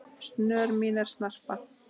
snör mín en snarpa